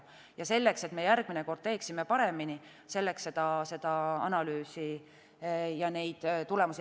Ja selleks, et me järgmine kord teeksime paremini, selleks seda analüüsi ja neid tulemusi ...